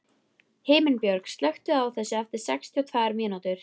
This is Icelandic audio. Himinbjörg, slökktu á þessu eftir sextíu og tvær mínútur.